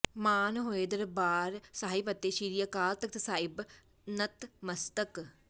ਮਾਨ ਹੋਏ ਦਰਬਾਰ ਸਾਹਿਬ ਅਤੇ ਸ੍ਰੀ ਅਕਾਲ ਤਖ਼ਤ ਸਾਹਿਬ ਨਤਮਸਤਕ